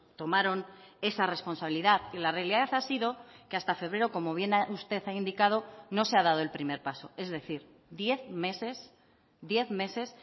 tomaron esa responsabilidad y la realidad ha sido que hasta febrero como bien usted ha indicado no se ha dado el primer paso es decir diez meses diez meses